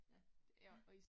Ja, ja ja